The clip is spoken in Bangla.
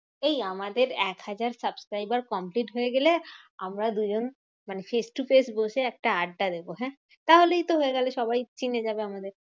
এই আমাদের এক হাজার subscriber complete হয়ে গেলে, আমরা দুজন মানে face to face বসে একটা আড্ডা দেব হ্যাঁ? তাহলেই তো হয়ে গেলো সবাই চিনে যাবে আমাদের।